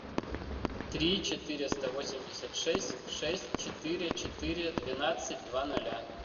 три четыреста восемьдесят шесть шесть четыре четыре двенадцать два ноля